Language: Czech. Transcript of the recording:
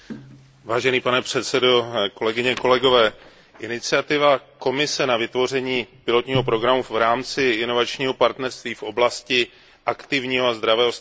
Iniciativa Komise na vytvoření pilotního programu v rámci inovačního partnerství v oblasti aktivního a zdravého stárnutí je určitě zajímavou aktivitou Komise.